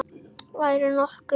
Værirðu nokkuð.